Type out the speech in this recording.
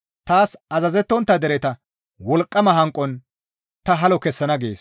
Taas azazettontta dereta wolqqama hanqon ta halo kessana» gees.